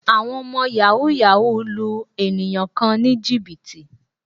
Àwọn ọmọ Yàhooyahoo lu ènìyàn kan ní Jìbìtì